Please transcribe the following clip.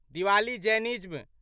Diwali Jainism